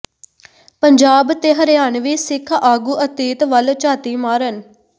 ਪੰਜਾਬ ਤੇ ਹਰਿਆਣਵੀ ਸਿੱਖ ਆਗੂ ਅਤੀਤ ਵੱਲ ਝਾਤੀ ਮਾਰਨ